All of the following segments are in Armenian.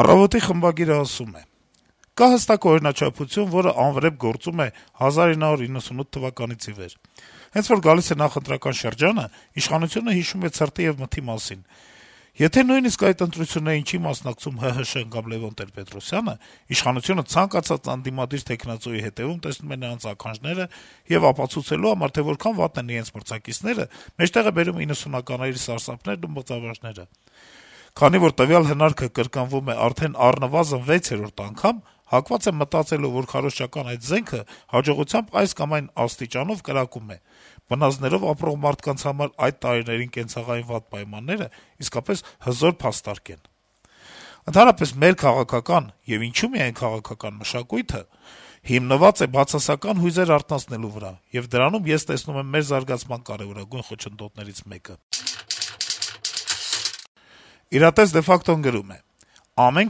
«Առավոտ»-ի խմբագիրը գրում է. - «Կա հստակ օրինաչափություն, որը անվրեպ գործում է 1998 թվականից ի վեր: Հենց որ գալիս է նախընտրական շրջանը, իշխանությունը հիշում է «ցրտի եւ մթի» մասին: Եթե նույնիսկ այդ ընտրություններին չի մասնակցում ՀՀՇ-ն կամ Լեւոն Տեր-Պետրոսյանը, իշխանությունը ցանկացած ընդդիմադիր թեկնածուի հետեւում տեսնում է նրանց «ականջները», եւ ապացուցելու համար, թե որքան վատն են իրենց մրցակիցները, մեջտեղ է բերում 90-ականների «սարսափներն» ու «մղձավանջները»: Քանի որ տվյալ «հնարքը» կրկնվում է արդեն առնվազն 6-րդ անգամ, հակված եմ մտածելու, որ քարոզչական այդ «զենքը» հաջողության այս կամ այն աստիճանով «կրակում է»՝ բնազդներով ապրող մարդկանց համար այդ տարիների կենցաղային վատ պայմանները իսկապես «հզոր փաստարկ» են: Ընդհանրապես, մեր քաղաքական (եւ ինչո՞ւ միայն քաղաքական) մշակույթը հիմնված է բացասական հույզեր արթնացնելու վրա, եւ դրանում ես տեսնում եմ մեր զարգացման կարեւորագույն խոչընդոտներից մեկը»: «Իրատես de facto»-ն գրում է. - «Ամեն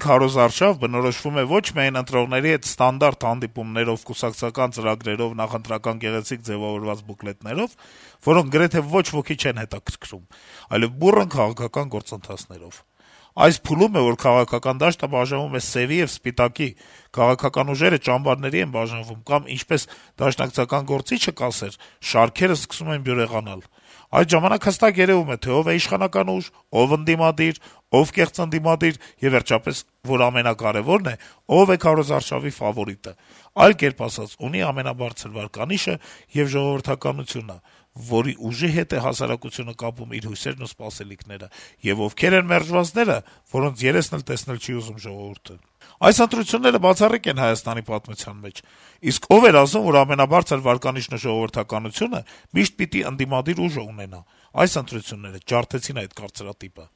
քարոզարշավ բնորոշվում է ոչ միայն ընտրողների հետ ստանդարտ հանդիպումներով, կուսակցական ծրագրերով, նախընտրական գեղեցիկ ձեւավորված բուկլետներով, որոնք գրեթե ոչ ոքի չեն հետաքրքրում, այլեւ բուռն քաղաքական գործընթացներով: Այս փուլում է, որ քաղաքական դաշտը բաժանվում է սեւի եւ սպիտակի, քաղաքական ուժերը ճամբարների են բաժանվում, կամ, ինչպես դաշնակցական գործիչը կասեր` շարքերը սկսում են բյուրեղանալ: Այդ ժամանակ հստակ երեւում է, թե ով է իշխանական ուժ, ով ընդդիմադիր, ով «կեղծ ընդդիմադիր», եւ վերջապես, որ ամենակարեւորն է, ով է քարոզարշավի ֆավորիտը, այլ կերպ ասած, ունի ամենաբարձր վարկանիշը եւ ժողովրդականությունը, որ ուժի հետ է հասարակությունը կապում իր հույսերն ու սպասելիքները, եւ ովքեր են մերժվածները, որոնց «երեսն էլ տեսնել չի ուզում» ժողովուրդը: Այս ընտրությունները բացառիկ են ՀՀ պատմության մեջ: Իսկ ո՞վ էր ասում, որ ամենաբարձր վարկանիշն ու ժողովրդականությունը միշտ պիտի ընդդիմադիր ուժն ունենա: Այս ընտրությունները ջարդեցին այդ կարծրատիպը»: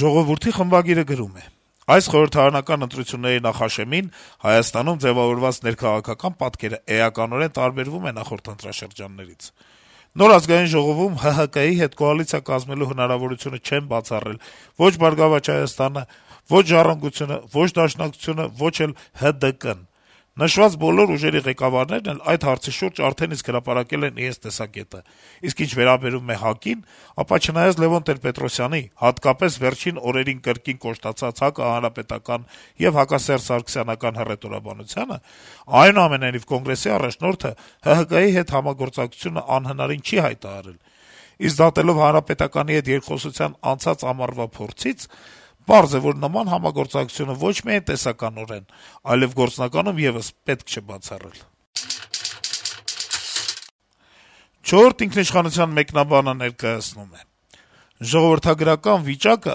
«Ժողովուրդ» թերթի խմբագիրը գրում է. - «Այս խորհրդարանական ընտրությունների նախաշեմին Հայաստանում ձեւավորված ներքաղաքական պատկերը էականորեն տարբերվում է նախորդ ընտրաշրջաններից: Նոր Ազգային ժողովում ՀՀԿ-ի հետ կոալիցիա կազմելու հնարավորությունը չեն բացառել ո'չ «Բարգավաճ Հայաստան»-ը, ո'չ «Ժառանգություն»-ը, ո'չ Դաշնակցությունը, ոչ էլ ՀԴԿ-ն: Նշված բոլոր ուժերի ղեկավարներն էլ այդ հարցի շուրջ արդեն իսկ հրապարակել են իրենց տեսակետը: Իսկ ինչ վերաբերում է ՀԱԿ-ին, ապա, չնայած Լեւոն Տեր-Պետրոսյանի` հատկապես վերջին օրերին կրկին կոշտացած հակահանրապետական եւ հակասերժսարգսյանական հռետորաբանությանը, այնուամենայնիվ Կոնգրեսի առաջնորդը ՀՀԿ-ի հետ համագործակցությունը անհնարին չի հայտարարում, իսկ դատելով Հանրապետականի հետ երկխոսության անցած ամառվա փորձից, պարզ է, որ նման համագործակցությունը ոչ միայն տեսականորեն, այլեւ գործնականում եւս պետք չէ բացառել»: «Չորրորդ ինքնիշխանության» մեկնաբանը ներկայացնում է. - «Ժողովրդագրական վիճակը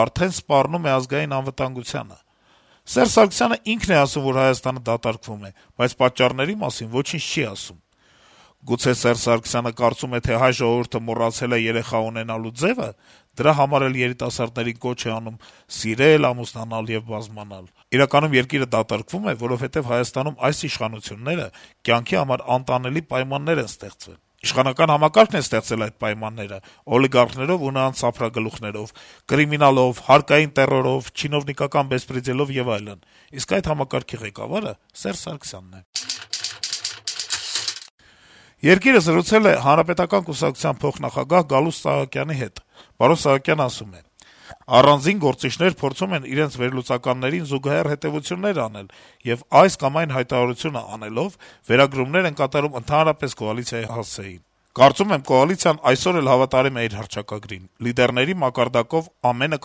արդեն սպառնում է ազգային անվտանգությանը: Սերժ Սարգսյանն ինքն է ասում, որ Հայաստանը դատարկվում է, բայց պատճառների մասին ոչինչ չի ասում: Գուցե Սարգսյանը կարծում է, թե հայ ժողովուրդը մոռացե՞լ է երեխա ունենալու ձեւը (դրա համար էլ երիտասարդներին կոչ է անում սիրել, ամուսնանալ եւ բազմանալ)»։ Սակայն, ըստ թերթի, «երկիրը դատարկվում է, որովհետեւ Հայաստանում այս իշխանությունները կյանքի համար անտանելի պայմաններ են ստեղծել»։ «Իշխանական համակարգն է ստեղծել այդ պայմանները` օլիգարխներով ու նրանց սափրագլուխներով, կրիմինալով, հարկային տեռորով, չինովնիկական «բեսպրեդելով» եւ այլն, իսկ այդ համակարգի ղեկավարը Սերժ Սարգսյանն է»: «Երկիր»-ը զրուցել է ՀՀԿ-ի փոխնախագահ Գալուստ Սահակյանի հետ: Սահակյանն ասում է. - «Առանձին գործիչներ փորձում են իրենց վերլուծականներին զուգահեռ հետեւություններ անել եւ, այս կամ այն հայտարարությունը անելով, վերագրումներ են կատարում ընդհանրապես կոալիցիայի հասցեին: Կարծում եմ` կոալիցիան այսօր էլ հավատարիմ է իր հռչակագրին: Լիդերների մակարդակով ամենը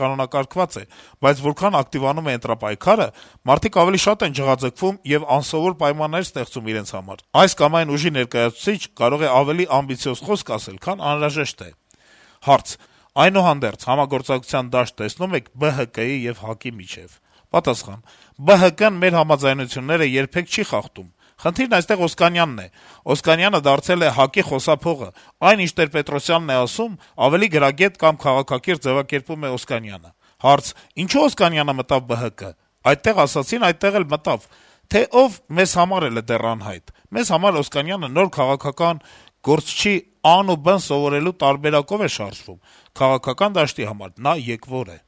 կանոնակարգված է, բայց որքան ակտիվանում է ընտրապայքարը մարդիկ ավելի շատ են ջղաձգվում եւ անսովոր պայմաններ ստեղծում իրենց համար: Այս կամ այն ուժի ներկայացուցիչ կարող է ավելի ամբիցիոզ խոսք ասել, քան անհրաժեշտ է»: Հարց. - «Այդուհանդերձ, համագործակցության դաշտ տեսնո՞ւմ եք ԲՀԿ-ի եւ ՀԱԿ-ի միջեւ»: Պատասխան. - «ԲՀԿ-ն մեր համաձայնությունները երբեք չի խախտում: Խնդիրն այնտեղ Օսկանյանն է: Օսկանյանը դարձել է ՀԱԿ-ի խոսափողը: Այն ինչ Տեր-Պետրոսյանն է ասում, ավելի գրագետ կամ քաղաքակիրթ ձեւակերպում է Օսկանյանը»: Հարց. -« Ինչո՞ւ Օսկանյանը մտավ ԲՀԿ»: Պատասխան. - «Այդտեղ ասեցին, այդտեղ էլ մտավ: Թե ով` մեզ համար էլ է դեռ անհայտ: Մեզ համար Օսկանյանը նոր քաղաքական գործչի ա-ն ու բ-ն սովորելու տարբերակով է շարժվում: Քաղաքական դաշտի համար նա եկվոր է»: